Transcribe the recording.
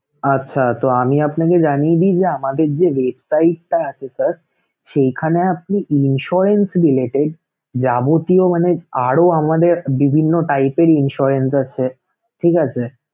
আচ্ছা তো আমি আপনাকে জানিয়ে দিই যে আমাদের যে website টা আছে sir সেইখানে আপনি insurance related যাবতীয় মানে আরও আমাদের বিভিন্ন type এর insurance আছে ঠিক আছে.